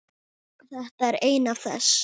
Þetta er ein af þess